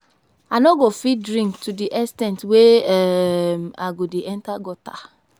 I no go fit drink to the ex ten t wey um I go dey enter gutter